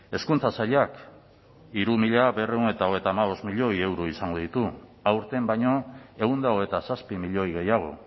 hezkuntza sailak hiru mila berrehun eta hogeita hamabost milioi euro izango ditu aurten baino ehun eta hogeita zazpi milioi gehiago